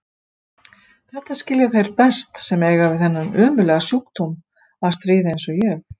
Þetta skilja þeir best sem eiga við þennan ömurlega sjúkdóm að stríða eins og ég.